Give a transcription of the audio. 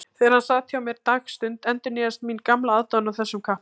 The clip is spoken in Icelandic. Þegar hann sat hjá mér dagstund endurnýjaðist mín gamla aðdáun á þessum kappa.